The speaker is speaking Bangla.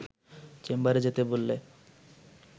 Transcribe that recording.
চেম্বারে যেতে বললে